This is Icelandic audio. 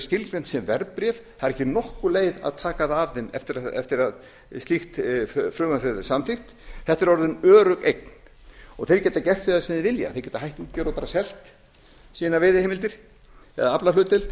skilgreint sem verðbréf það er ekki nokkur leið að taka það af þeim eftir að sitt frumvarp hefur verið samþykkt þetta er orðin örugg eign og þeir geta gert við það sem þeir vilja þeir geta hætt útgerð og bara selt sínar veiðiheimildir eða aflahlutdeild